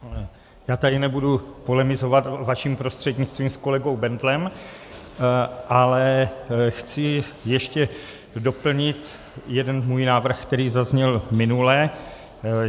Já tady nebudu polemizovat vaším prostřednictvím s kolegou Bendlem, ale chci ještě doplnit jeden svůj návrh, který zazněl minule.